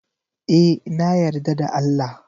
E, na yarda da Allah.